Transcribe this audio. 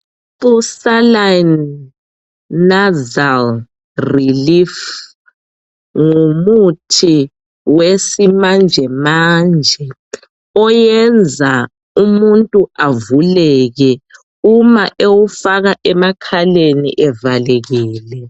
USaline nasal relief ngumuthi wesimanjemanje oyenza umuntu avuleke uma ewufaka emakhaleni evalekile.